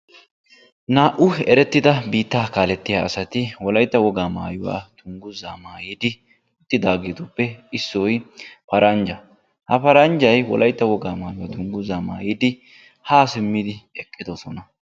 Naa'u erettida biittaa kaalettiya asati wolaytta wogaa maayuwa dungguza maayidi uttidageetuppe issoy paranja; ha paranjay wolaytta wogaa maayuwa dungguza maayidi haa simmidi eqqidosona.